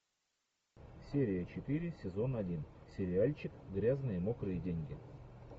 серия четыре сезон один сериальчик грязные мокрые деньги